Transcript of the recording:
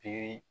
Pikiri